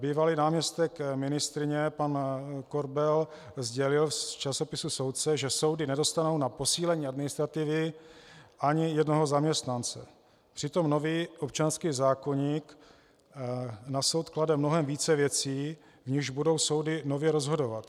Bývalý náměstek ministryně pan Korbel sdělil v časopisu Soudce, že soudy nedostanou na posílení administrativy ani jednoho zaměstnance, přitom nový občanský zákoník na soud klade mnohem více věcí, v nichž budou soudy nově rozhodovat.